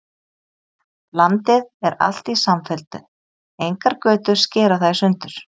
Landið er alt í samfellu, engar götur skera það í sundur.